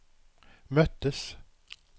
möttes